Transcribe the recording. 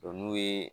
n'u ye